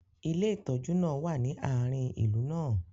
ilé ìtójú náà wa ni aarin ìlú náà